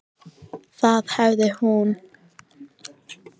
Það hefði nú ekki verið neitt verra.